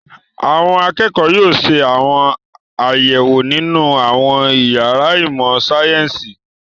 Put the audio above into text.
Àwọn akẹ́kọ̀ọ́ yóò ṣe àwọn àyẹ̀wò nínú àwọn ìyàrá ìmọ̀-sáyẹ́ńsì.